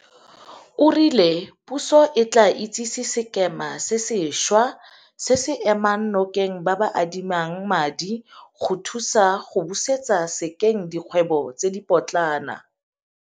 O rile puso e tla itsise sekema se sentšhwa se se emang nokeng ba ba adimang madi go thusa go busetsa sekeng dikgwebo tse dipotlana.